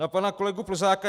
Na pana kolegu Plzáka.